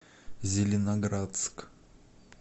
зеленоградск